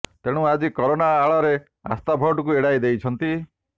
ତେଣୁ ଆଜି କରୋନା ଆଳରେ ଆସ୍ଥା ଭୋଟକୁ ଏଡ଼ାଇ ଦେଇଛନ୍ତି